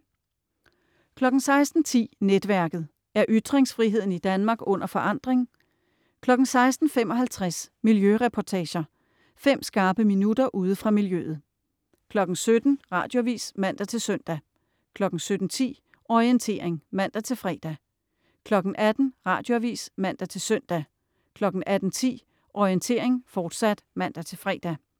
16.10 Netværket. Er ytringsfriheden i Danmark under forandring? 16.55 Miljøreportager. Fem skarpe minutter ude fra miljøet 17.00 Radioavis (man-søn) 17.10 Orientering (man-fre) 18.00 Radioavis (man-søn) 18.10 Orientering, fortsat (man-fre)